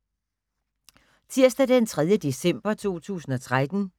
Tirsdag d. 3. december 2013